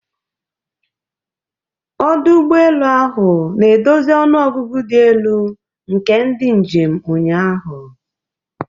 Ọdụ ụgbọ elu ahụ na-edozi ọnụ ọgụgụ dị elu nke ndị njem ụnyaahụ.